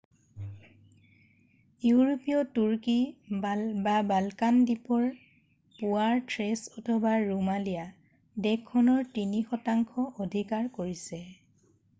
ইউৰোপীয় তুৰ্কী বালকান দ্বীপৰ পূৱৰ থ্ৰেছ অথবা ৰোমালিয়া দেশখনৰ 3% অধিকাৰ কৰিছে।